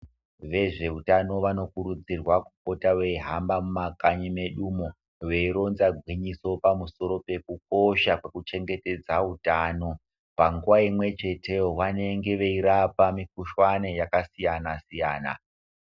Vezvehutano vanokurudzirwa kupota beyihamba mumakanyi mwedu umo, beyironza gwinyiso pamusoro pekukosha kwekuchengetedza hutano. Panguva imwechete iyo vanenge veyirapa mikuhlane yakasiyana siyana.